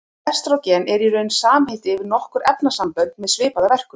Estrógen er í raun samheiti yfir nokkur efnasambönd með svipaða verkun.